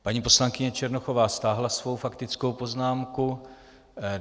Paní poslankyně Černochová stáhla svou faktickou poznámku.